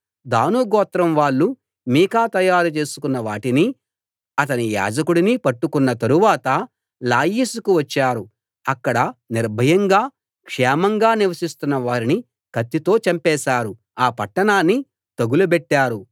దాను గోత్రం వాళ్ళు మీకా తయారు చేసుకున్న వాటినీ అతని యాజకుడినీ పట్టుకున్న తరువాత లాయిషుకు వచ్చారు అక్కడ నిర్భయంగా క్షేమంగా నివసిస్తున్న వారిని కత్తితో చంపేశారు ఆ పట్టణాన్ని తగులబెట్టారు